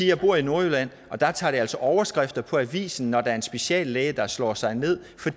jeg bor i nordjylland og der trækker det altså overskrifter i avisen når der er en speciallæge der slår sig ned for